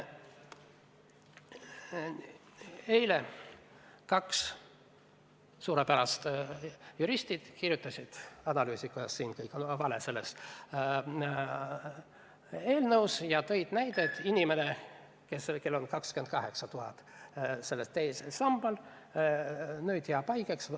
Eile kirjutasid kaks suurepärast juristi, kuidas kõik selles eelnõus on valesti, ja tõid näite inimesest, kellel on teises sambas 28 000 eurot ja kes jääb haigeks.